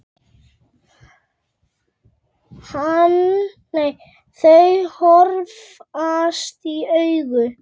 Þau horfast í augu.